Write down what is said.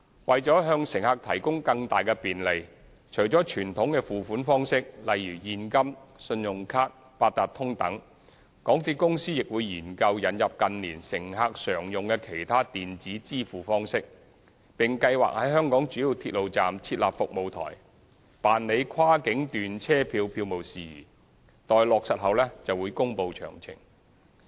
為向乘客提供更大便利，除了傳統的付款方式，例如現金、信用卡、八達通等，港鐵公司亦會研究引入近年乘客常用的其他電子支付方式，並計劃在香港主要鐵路站設立服務台，辦理跨境段車票票務事宜，待落實後會公布詳情。